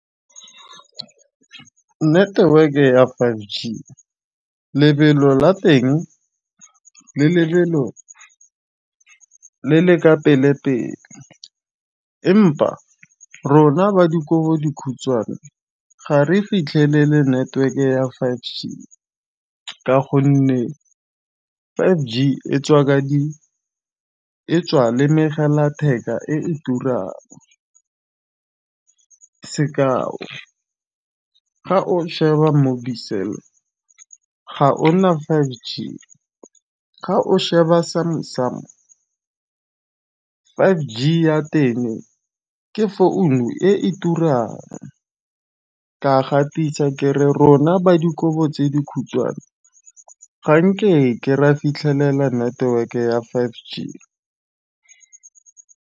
Network e ya five G lebelo la teng le lebelo le le ka pele pele empa rona ba dikobo dikhutshwane ga re fitlhelele network ya five G. Ka gonne five G e tswa ka di e tswa lemogela matheka e turang sekao ga o sheba mobicel ga ona five G ga o sheba sa me sa mo five g ya teng ke founu e turang. Ka gatisa ke rona ba dikobo tse dikhutshwane ga nke ke ra fitlhelela network ya five G.